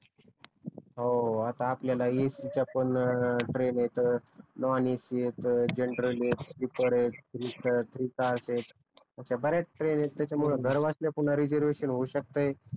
हो आता आपल्याला ए सी च्या पण ट्रेन येत नॉन एसी येत जनरल आहेत स्लीपर आहेत थ्री स्टार आहेत अश्या बऱ्याच ट्रेन आहेत त्याच्यामुळे घरबसल्या पुन्हा रिझर्वेशन होवू शकतेय